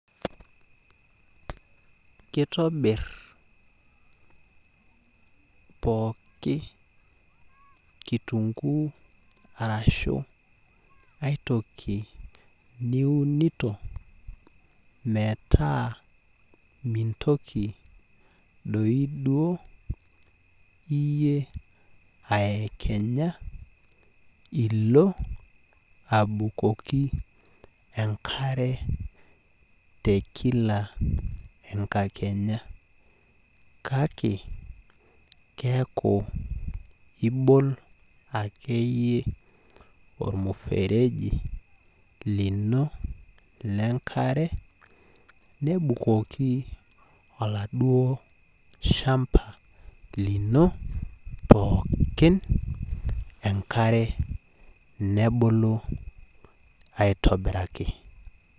Kitobir pooki kitunkuu arashu aitoki niunito, metaa mintoki doi duo iyie aekenya ilo abukoki enkare tekila enkakenya. Kake, keeku ibol akeyie ormufereji lino lenkare, nibukoki oladuo shamba lino pookin enkare, nebulu aitobiraki.